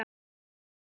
Á leiðinni?